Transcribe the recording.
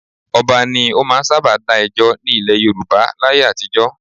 Ọba ni ó máa ń sábà dá ẹjọ́ ní ilẹ̀ Yorùbá láyé àtijọ́